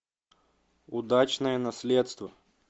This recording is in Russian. удачное наследство